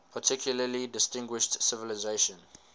particularly distinguished civilization